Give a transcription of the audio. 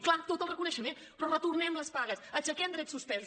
clar tot el reconeixement però retornem les pagues aixequem drets suspesos